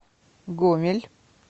гомель